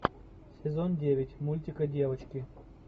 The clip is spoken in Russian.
сезон девять мультика девочки